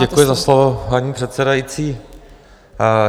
Děkuji za slovo, paní předsedající.